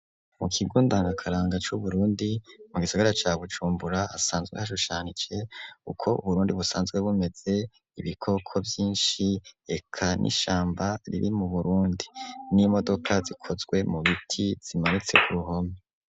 Mu kigo ndangakaranga, c'Uburundi, mu gisagara ca Bujumbura, hasanzwe hashushanije, uko Uburundi, busanzwe bumeze; ibikoko vyinshi, eka n'ishamba riri mu Burundi; n'imodoka, zikozwe mu biti, zimanitse ku ruhome.